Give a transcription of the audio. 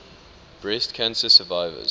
breast cancer survivors